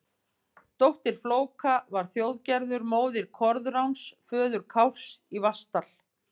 Dóttir Flóka var Þjóðgerður, móðir Koðráns, föður Kárs í Vatnsdal.